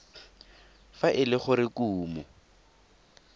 fa e le gore kumo